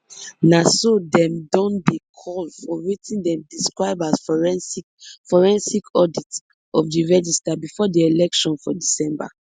na so dem don dey call for wetin dem describe as forensic forensic audit of di register bifor di election for december